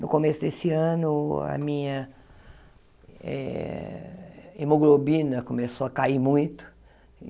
No começo desse ano, a minha eh hemoglobina começou a cair muito.